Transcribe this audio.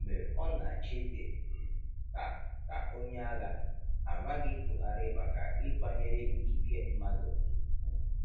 Mgbe ọ na-achị dị um ka ka onye agha, a maghị Buhari maka ịkwanyere ikike mmadụ um ùgwù.